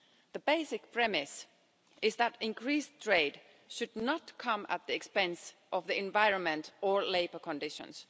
The basic premise is that increased trade should not come at the expense of the environment or labour conditions